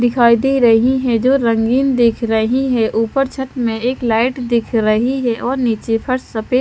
दिखाई दे रही है जो रंगीन दिख रही है ऊपर छत में एक लाइट दिख रही है और नीचे फर्श सफे--